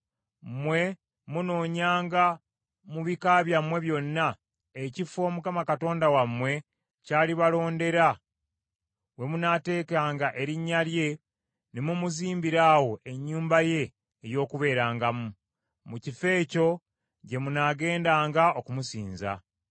Mmwe munoonyanga mu bika byammwe byonna, ekifo Mukama Katonda wammwe ky’alibalondera we munaateekanga Erinnya lye ne mumuzimbira awo ennyumba ye ey’okubeerangamu. Mu kifo ekyo gye munaagendanga okumusinza;